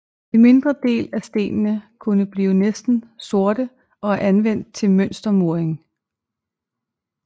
En mindre del af stenene kunne blive næsten sorte og er anvendt til mønstermuring